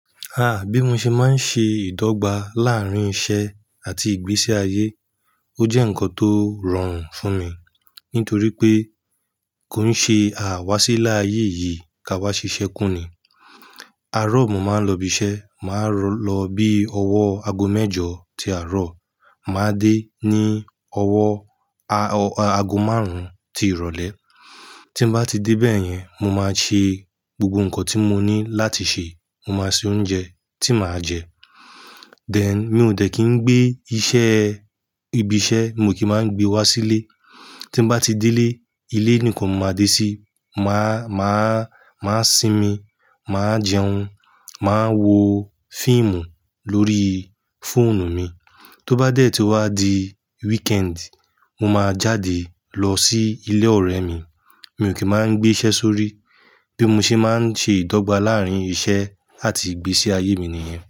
Bí mo ṣe máa ń ṣe ìdọ́gba láárín iṣẹ́ àti ìgbésí ayé. Ó jẹ́ ǹkan tó rọrùn fún mi nítorí pé kò ń ṣe àwáṣí ilé ayé yìí ká wá ṣiṣẹ́ kúnni. Arọ̀ mo máa ń lọ ibi iṣẹ́, màá lọ bí ọwọ́ aago mẹ́jọ tí àárọ̀, màá dé ní ọwọ́ aago márùn-ún ti ìrọ̀lẹ́. Tí n bá ti dé bẹ́ẹ̀ yẹn, mo máa ṣe gbogbo ǹkan tí mo ní láti ṣe, mo máa sè oúnjẹ tí màá jẹ. Then, mi ò dẹ́ kí ń gbé iṣẹ́, ibi iṣẹ́ mi kì í máa gbé wá sílé. Tí bá ti dé lé, ilé nìkan mo máa dé sí, màá, màá, màá sinmi, màá jẹun, màá wo fíìmù lórí fóònù mi. Tó bá dẹ̀ tí ó wá di weekend, mo máa jáde lọ sí ilé ọ̀rẹ́ mi, mi ò kí máa ń gbé iṣẹ́ sórí. Bí mo ṣe máa ń ṣe ìdọ́gba láàárín iṣẹ́ àti ìgbésí ayé mi nìyẹn.